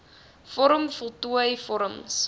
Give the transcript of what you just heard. vorm voltooi vorms